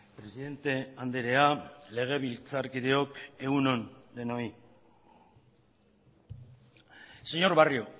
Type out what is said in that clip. presidente andrea legebiltzarkideok egun on denoi señor barrio